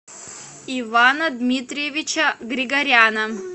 ивана дмитриевича григоряна